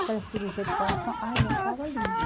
Aquelas cirurgias de coração, ai eu achava lindo.